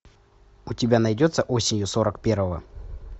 у тебя найдется осенью сорок первого